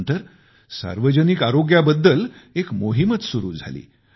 त्यानंतर सार्वजनिक आरोग्याबाबत एक मोहीमच सुरू झाली